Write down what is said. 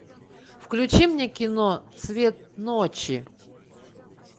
включи мне кино цвет ночи